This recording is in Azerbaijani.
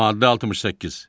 Maddə 68.